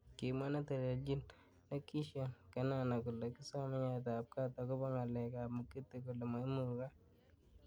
Kimwa neteleljin Lekishon Kenana kole kisomei nyoet ab kat akobo ngalek ab Mugithi kole maimukak.